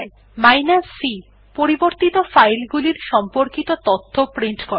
যেমন c160 পরিবর্তিত file গুলির সম্পর্কিত তথ্য প্রিন্ট করে